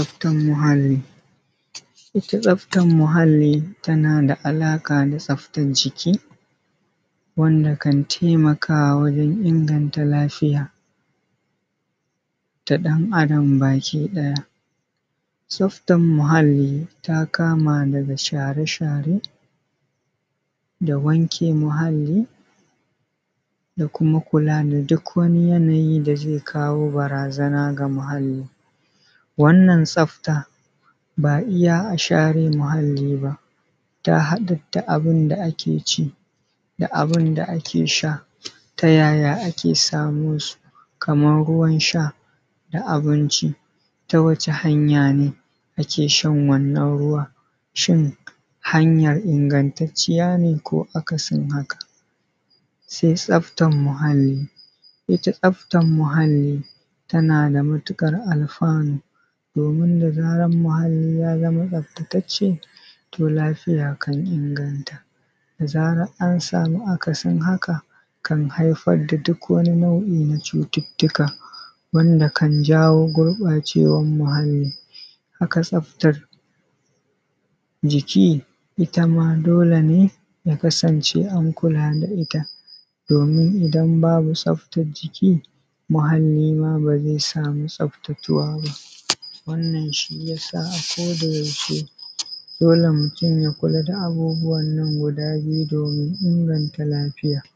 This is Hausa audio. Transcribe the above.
Tsaftan muhali. Ita tsaftan tana da alaƙa da tsaftan jiki, wanda kan taimaka wajen inganta lafiya ta ɗan Adam. Tsaftan muhali ta kama daga share-share, da wanke muhali da kuma kula da duk wani yanayi da zai kawo barazana ga mahali. Wannan tsafta ba iya share muhali, ta haɗa duk abin da ake ci da abinda ake sha, tayaya samo su? Kaman ruwan sha da abinci ta wace hanya ne ake shan wannan ruwa? Shin hanya ingantaciya ne? Ko akasin haka? Sai tsaftan muhali, ita tsaftan muhali tana da matuƙar alfanu, domin da zaran muhali ya zama tsaftattace to lafiya kan inganta, da zaran an samu aka sin haka, kan haifar da duk wani nau’i na cututtuka wanda kan jawo wanda kan jawo gurɓacewan muhali. Haka tsaftar jiki. Itama dole ne ya kasance an kula da ita, domin idan babu tsaftan jiki muhali ma ba zai samu tsaftattuwa ba. Wannan shiyasa a ko da yaushe dole mutum ya kula da abubuwan guda biyu, domin inganta lafiya.